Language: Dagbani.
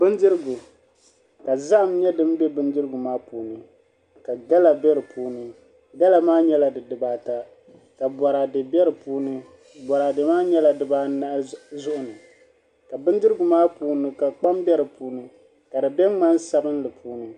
Bindirigu ka zaham nyɛ din bɛ bindirigu maa puuni ka gala bɛ di puuni gala maa nyɛla di dibaata ka boraadɛ bɛ di puuni boraadɛ maa nyɛla dibaanahi zuɣu ni ka bindirigu maa puuni ka kpam bɛ dinni ka di bɛ ŋmani sabinli puuni